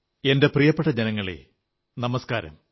എന്റെ പ്രിയപ്പെട്ട ജനങ്ങളേ നമസ്കാരം